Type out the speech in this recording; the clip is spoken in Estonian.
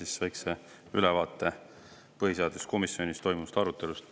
Annan siis väikse ülevaate põhiseaduskomisjonis toimunud arutelust.